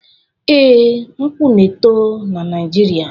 Ee, nkwu na-eto na Naijiria.